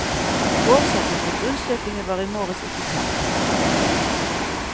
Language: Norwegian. Årsaken til grunnstøtingen var i morges ikke kjent. punktum